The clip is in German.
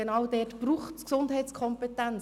Genau dazu braucht es Gesundheitskompetenz.